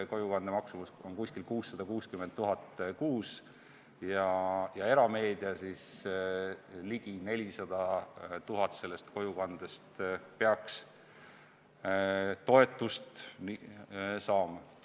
Kojukande maksumus on umbes 660 000 eurot kuus ja erameedia peaks umbes 400 000 kojukande jaoks toetust saama.